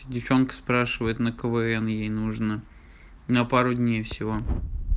девчонка спрашивает на квн ей нужно на пару дней всего